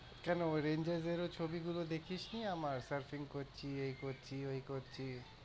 কেন ওই ranger এর ছবি গুলো দেখিসনি আমার surfing করছি, এই করছি, ওই করছি।